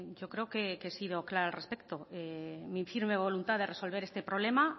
yo creo que he sido clara al respecto mi firme voluntad de resolver este problema